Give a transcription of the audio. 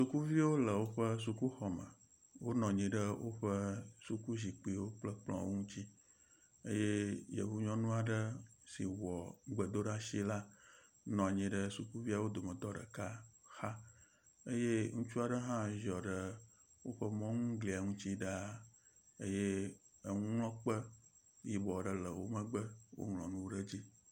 Yevuviwo le woƒe sukuxɔme wonɔ anyi ɖe woƒe suku zikpiwo kple kplɔwo ŋutsi ke yevu nyɔnu aɖe si wɔ gbedoɖa si la nɔ anyi ɖe sukuviawo dometɔ ɖeka xa eye ŋutsu aɖe hã ziɔ ɖe woƒe mɔŋu glia ŋutsi ɖaa eye enuŋlɔkpe yibɔ ɖe le wo megbe woŋlɔ nu ɖe edzi.